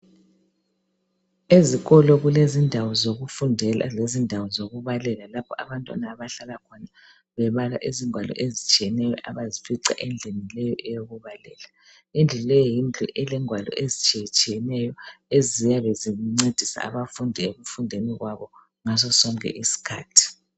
Ezikolo kulezindawo zokufundela lezindawo zokubalela lapha abantwana abahlala khona bebala izingwalo ezitshiyeneyo abazifica endlini leyo eyokubalela. Indlu leyi yindlu elengwalo ezitshiyetshiyeneyo eziyabe zincedisa abafundi ekufundeni kwabo ngasosonke isikhathi.